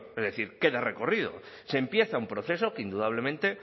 es decir queda recorrido se empieza un proceso que indudablemente